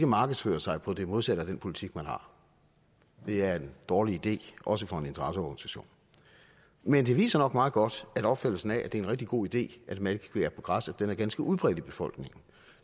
markedsføre sig på det modsatte af den politik man har det er en dårlig idé også for en interesseorganisation men det viser nok meget godt at opfattelsen af at det er en rigtig god idé at malkekvæg er på græs er ganske udbredt i befolkningen